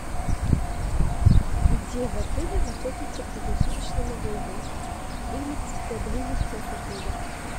где в отеле находится круглосуточный магазин или поблизости от отеля